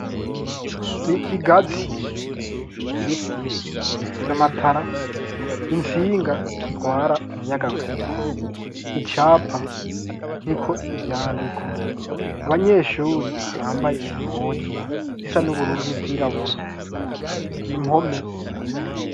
ikigazi ibiti vy'amatara intsinga zitwara umuyaga nkuba icapa kiriko ivyandiko abanyeshuri bambaye impuzu zisa n'ubururu n'izirabura impome